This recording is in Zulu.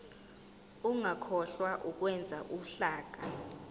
ungakhohlwa ukwenza uhlaka